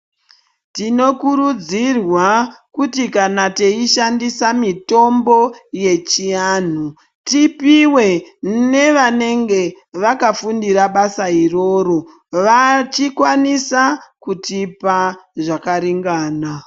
Tinokurudzirwa kuti kana teishandisa mitombo yechianhu tipuwe nevanenge vakafundire basa iroro vachikwanisa kutipa zvakaringana.